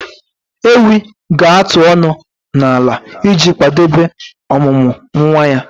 Ewi ga-atụ ọnụ n'ala iji kwadebe ọmụmụ nwa ya